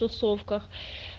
тусовках